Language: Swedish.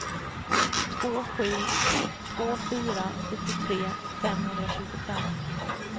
två sju två fyra sjuttiotre femhundratjugofem